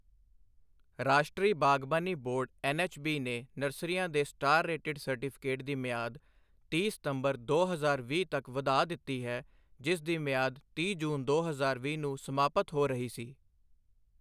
ਰਾਸ਼ਟਰੀ ਬਾਗਬਾਨੀ board NHB ਨੇ ਨਰਸਰੀਆਂ ਦੇ ਸਟਾਰ ਰੇਟਿਡ ਸਰਟੀਫਿਕੇਟ ਦੀ ਮਿਆਦ ਤੀਹ ਸਤੰਬਰ ਦੋ ਹਜ਼ਾਰ ਵੀਹ ਤੱਕ ਵਧਾ ਦਿੱਤੀ ਹੈ, ਜਿਸ ਦੀ ਮਿਆਦ ਤੀਹ ਜੂਨ ਦੋ ਹਜ਼ਾਰ ਵੀਹ ਨੂੰ ਸਮਾਪਤ ਹੋ ਰਹੀ ਸੀ।